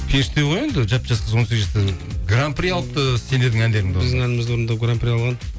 періште ғой енді жап жас қыз он сегіз жасар гран при алыпты і сендердің әндеріңді біздің әнімізді орындап гран при алған